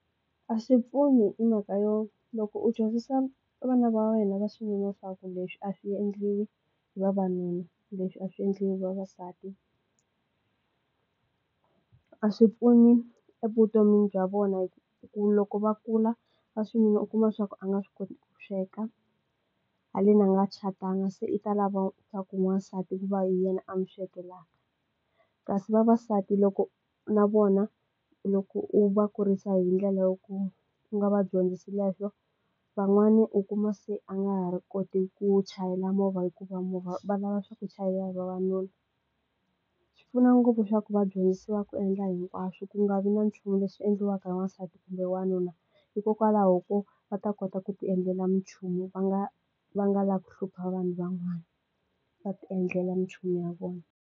A swi pfuni hi mhaka yo loko u dyondzisa vana va wena va swi vona swaku leswi a swi endli hi vavanuna leswi a swi endli hi vavasati ku a swi pfuni evutomini bya vona hi ku loko va kula va u kuma swaku waxinuna a nga swi koti ku sweka haleni a nga catanga se i ta lava swaku n'wansati ku va hi yena a mu swekelaka kasi vavasati loko na vona loko u va kurisa hi ndlela yo ku nga va dyondzisi leswo van'wani u kuma se a nga ha ri koti ku chayela movha hikuva movha va lava swaku chayela hi vavanuna swi pfuna ngopfu swaku va dyondzisiwa ku endla hinkwaswo ku nga vi na nchumu leswi endliwaka hi wansati kumbe wanuna hikokwalaho ko va ta kota ku ti endlela nchumu va nga va nga lavi ku hlupha vanhu van'wana va ti endlela nchumu ya vona.